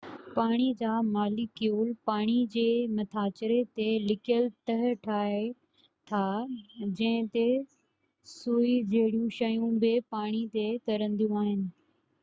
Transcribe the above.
پاڻي جا ماليڪيول پالڻي جي مٿاڇري تي لڪيل تهہ ٺاهي ٿا جنهن تي سوئي جهڙيون شيون بہ پاڻي تي ترنديون آهن